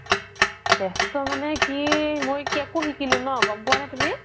বেস্ত মানে কি মই cake ও সিকিলো ন গ'ম পুৱা নে তুমি